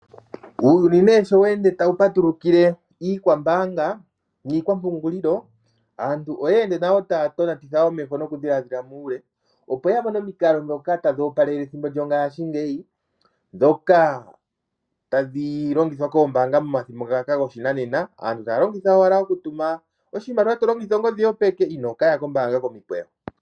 Uuyuni sho we ende tawu patulukile iikwambaanga niikwampungulilo, aantu oye ende taya tonatitha omeho nokudhiladhila muule, opo ya mone omikalo ndhoka tadhi opelele ethimbo lyongashingeyi ndhoka tadhi longithwa koombaanga momathimbo ngaka goshinanena. Aantu taya longitha owala okutuma oshimaliwa to longitha ongodhi yopeke inoo ka ya kombaanga momikweyo.